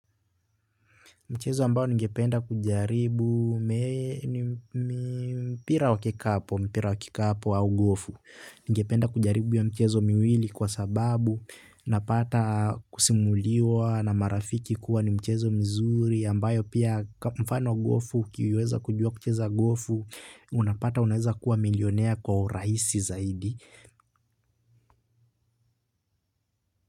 Mchezo ambayo ngependa kujaribu mpira wa kikapo au gofu. Ningependa kujaribu ya mchezo miwili kwa sababu napata kusimuliwa na marafiki kuwa ni mchezo mzuri ambayo pia mfano gofu ukiweza kujua kucheza gofu unapata unaweza kuwa milionea kwa urahisi zaidi.